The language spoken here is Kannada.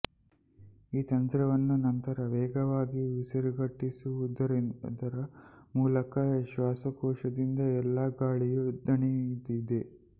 ಈ ತಂತ್ರವನ್ನು ನಂತರ ವೇಗವಾಗಿ ಉಸಿರುಗಟ್ಟಿಸುವುದರ ಮೂಲಕ ಶ್ವಾಸಕೋಶದಿಂದ ಎಲ್ಲಾ ಗಾಳಿಯು ದಣಿದಿದೆ